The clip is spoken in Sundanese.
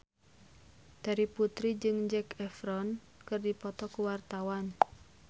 Terry Putri jeung Zac Efron keur dipoto ku wartawan